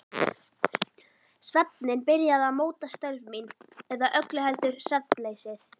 Svefninn byrjaði að móta störf mín- eða öllu heldur svefnleysið.